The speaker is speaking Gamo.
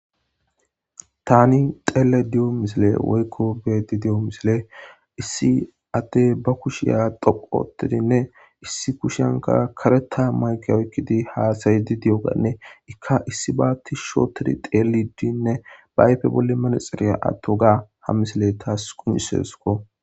tani xeele diyo misile woykko beedi di7o misile issi addey ba kushiya doqu otidinne issi kushiyanka kareta mayke oykkidi haasayidi di7oganne ikka issi baatti shootedi xeeliddinne baayfe bolle manexiriya atto gaa ha misile taas qunisesko